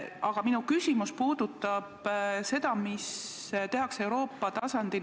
Aga minu küsimus puudutab seda, mida tehakse Euroopa tasandil.